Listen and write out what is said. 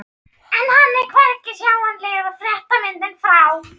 En hann er hvergi sjáanlegur og fréttamyndin frá